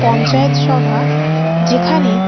পঞ্চায়েত সভা যেখানে --